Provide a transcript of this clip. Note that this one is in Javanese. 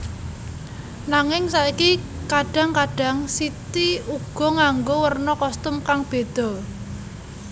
Nanging saiki kadhang kadhang City uga nganggo werna kostum kang beda